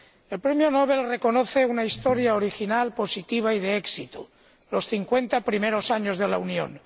El Premio Nobel reconoce una historia original, positiva y de éxito los 50 primeros años de la Unión.